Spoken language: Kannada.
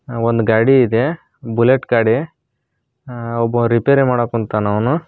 ಒಂದು ಗಾಡಿ ಇದೆ ಬುಲೆಟ್ ಗಾಡಿ ಆ ಒಬ್ಬ ರಿಪೇರಿ ಮಾಡಕ್ಕೆ ಕುಂತವ್ನೆ ಅವ್ನು.